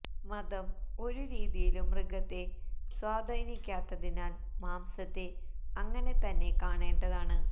മതം ഒരു രീതിയിലും മൃഗത്തെ സ്വാധീനിക്കാത്തതിനാല് മാംസത്തെ അങ്ങനെ തന്നെ കാണേണ്ടതാണ്